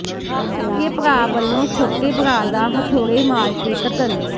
ਸਕੇ ਭਰਾ ਵੱਲੋਂ ਛੋਟੇ ਭਰਾ ਦਾ ਹਥੌੜੇ ਮਾਰ ਕੇ ਕਤਲ